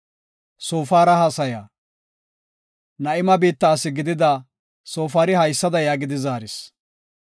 Na7ima biitta asi gidida Soofari haysada yaagidi zaaris;